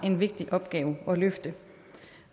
en vigtig opgave at løfte